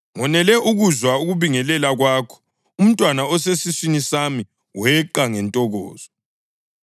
Ngonele ukuzwa ukubingelela kwakho, umntwana osesiswini sami weqa ngentokozo.